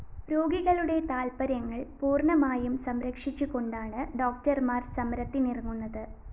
രോഗികളുടെ താല്‍പര്യങ്ങള്‍ പൂര്‍ണമായും സംരക്ഷിച്ചുകൊണ്ടാണ് ഡോക്ടര്‍മാര്‍ സമരത്തിനിറങ്ങുന്നത്